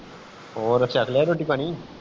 ਹੋਰ ਕਰਲਿਆ ਰੋਟੀ ਪਾਣੀ